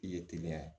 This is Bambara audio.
I ye teliya